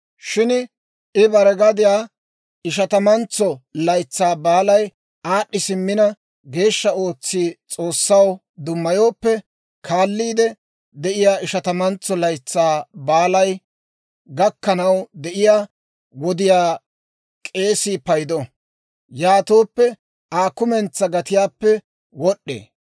Shin I bare gadiyaa Ishatamantso Laytsaa Baalay aad'd'i simmina geeshsha ootsi S'oossaw dummayooppe, kaalliide de'iyaa Ishatamantso Laytsaa Baalay gakkanaw de'iyaa wodiyaa k'eesii paydo; yaatooppe Aa kumentsaa gatiyaappe wod'd'ee.